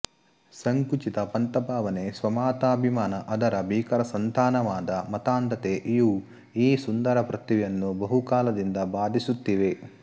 ಸಂಕುಚಿತ ಪಂಥಭಾವನೆ ಸ್ವಮತಾಭಿಮಾನ ಅದರ ಭೀಕರ ಸಂತಾನವಾದ ಮತಾಂಧತೆ ಇವು ಈ ಸುಂದರ ಪೃಥ್ವಿಯನ್ನು ಬಹುಕಾಲದಿಂದ ಬಾಧಿಸುತ್ತಿವೆ